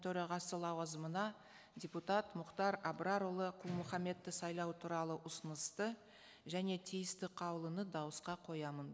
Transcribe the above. төрағасы лауазымына депутат мұхтар абрарұлы құл мұхаммедті сайлау туралы ұсынысты және тиісті қаулыны дауысқа қоямын